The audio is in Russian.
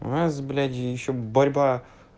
у нас бляди ещё борьба